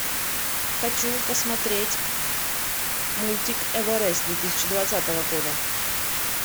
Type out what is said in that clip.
хочу посмотреть мультик эверест две тысячи двадцатого года